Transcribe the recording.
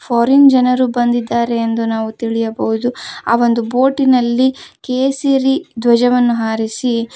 foreign ಜನರು ಬಂದಿದ್ದಾರೆ ಎಂದು ನಾವು ತಿಳಿಯಬಹುದು ಆ ಒಂದು ಬೋಟಿನಲ್ಲಿ ಕೇಸರಿ ಧ್ವಜವನ್ನು ಹಾರಿಸಿ--